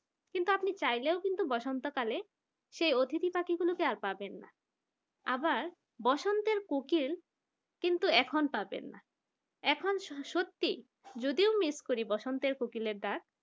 কিন্তু আপনি চাইলেও কিন্তু পবসন্ত কালে সেই অতিথি পাখি গুলোকে আর পাবেন না আবার বসন্তের কোকিল কিন্তু এখন পাবেন না এখন সত্যি যদিও miss করি বসন্তের কোকিলের ডাক